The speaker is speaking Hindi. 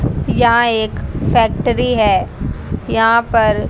यहा एक फैक्ट्री है यहां पर--